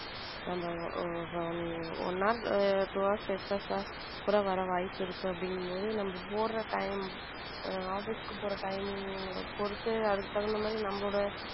நம் one hours two hours excess ஆர் கூட வர வாய்ப்பு இருக்கு அப்படிங்கும் போது நம்ம போடுற time office க்கு போற timing பொறுத்து அதுக்கு தகுந்த மாதிரி நம்மளோட.